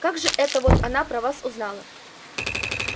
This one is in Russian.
как же это вот она про вас узнала